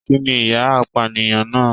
Kínní ìyà apànìyàn náà?